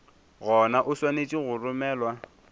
gona o swanetše go romelwa